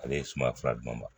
Ale ye suma fila ɲuman ma